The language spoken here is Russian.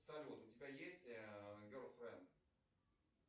салют у тебя есть герл френд